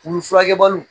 Olu furakɛbaliw